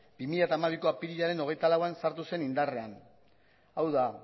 bi mila hamabiko apirilaren hogeita lauean sartu zen indarrean hau da